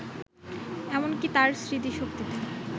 এমন কি তার স্মৃতিশক্তিতে